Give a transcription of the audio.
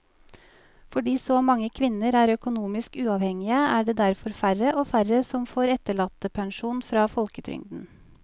Fordi så mange kvinner er økonomisk uavhengige er det derfor færre og færre som får etterlattepensjon fra folketrygden.